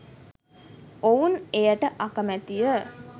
ඔවුන් එයට අකමැති ය